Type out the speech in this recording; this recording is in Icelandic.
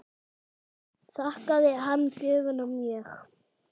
Þakkaði hann gjöfina mjög.